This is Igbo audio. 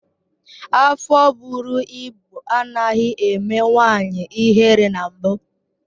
Afọ bụrụ ịbụ anaghị eme nwanyị ihere na mbụ